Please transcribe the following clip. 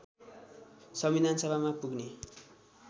संविधानसभामा पुग्ने